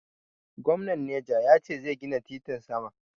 Gomnan neja ya ce zai gina titin sama.